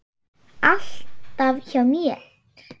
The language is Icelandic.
Alltaf hjá mér.